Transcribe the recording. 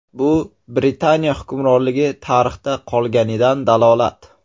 Bu Britaniya hukmronligi tarixda qolganidan dalolat.